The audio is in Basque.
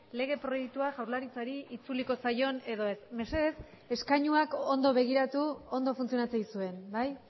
lege proiektua jaurlaritzari itzuliko zaion edo ez mesedez eskainuak ondo begiratu ondo funtzionatzen dizuen bai